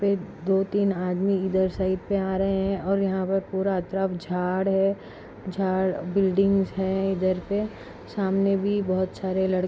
दो तीन आदमी ईधर साइट मे आ रहे है और यहा पर पूरा तरफ झाड है झाड बिल्डिंग्स है ईधर पे सामने भी बहुत सारे लड़के--